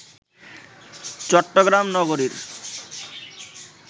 চট্টগ্রাম নগরীর